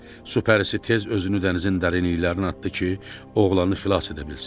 Su pərisi tez özünü dənizin dərinliklərinə atdı ki, oğlanı xilas edə bilsin.